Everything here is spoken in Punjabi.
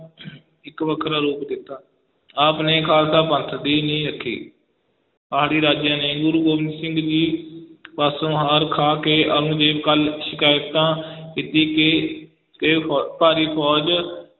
ਇੱਕ ਵੱਖਰਾ ਰੂਪ ਦੇ ਦਿੱਤਾ, ਆਪ ਨੇ ਖਾਲਸਾ ਪੰਥ ਦੀ ਨੀਂਹ ਰੱਖੀ, ਪਹਾੜੀ ਰਾਜਿਆਂ ਨੇ ਗੁਰੂ ਗੋਬਿੰਦ ਸਿੰਘ ਜੀ ਪਾਸੋਂ ਹਾਰ ਖਾ ਕੇ ਔਰੰਗਜ਼ੇਬ ਕੋਲ ਸ਼ਿਕਾਇਤਾਂ ਕੀਤੀ ਕਿ ਕਿ ਫ਼ੋ~ ਭਾਰੀ ਫੌਜ